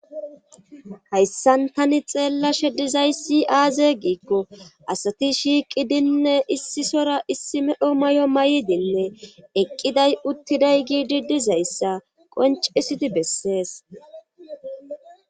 hayssan tani xeellashe dizay si aaze giikko asati shiiqidinne issisora issi medho may7o may7dinne eqqiday uttiday giidi dizayssa qoncisidi bessees